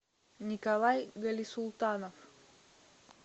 николай галисултанов